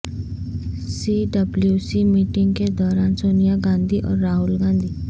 سی W C meeting کے دوران سونیا گاندھی اور راہل گاندھی